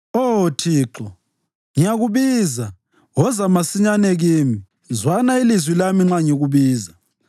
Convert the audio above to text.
Oh Thixo, ngiyakubiza; woza masinyane kimi. Zwana ilizwi lami nxa ngikubiza.